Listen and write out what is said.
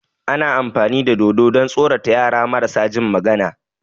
Ana amfani da dodo don tsorata yara marasa jin magana